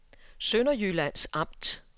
Sønderjyllands Amt